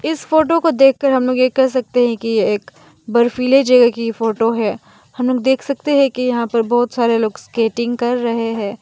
इस फोटो को देखकर हम लोग ये कह सकते है की यह एक बर्फीले जगह की ये फोटो है हम लोग देख सकते है की यहां पर बहोत सारे लोग स्केटिंग कर रहे है।